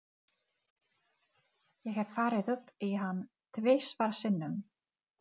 Þátíð veikra og sterkra sagna.